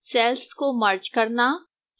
cells को merge करना